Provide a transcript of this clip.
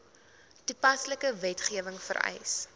toepaslike wetgewing vereis